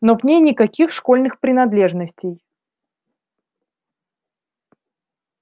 но в ней никаких школьных принадлежностей